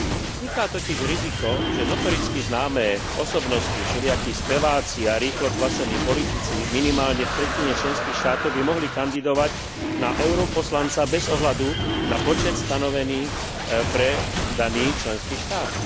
Vzniká totiž riziko, že notoricky známe osobnosti, všelijakí speváci a rýchlokvasení politici minimálne v tretine členských štátov by mohli kandidovať na europoslanca bez ohľadu na počet stanovený pre daný členský štát.